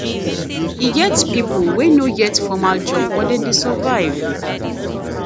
e get pipo wey no get formal job but dem dey survive